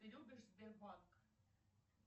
ты любишь сбербанк